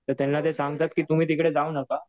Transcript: तर त्यांना ते सांगतात की तुम्ही तिकडे जाऊ नका.